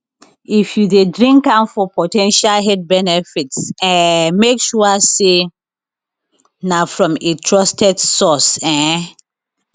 if you dey drink am for po ten tial health benefits um make sure say na from a trusted source um